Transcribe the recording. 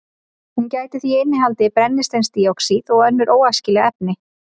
Hún gæti því innihaldið brennisteinsdíoxíð og önnur óæskileg efni.